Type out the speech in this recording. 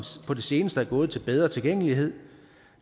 på det seneste er gået til bedre tilgængelighed og